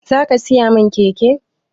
Zaka siya min keke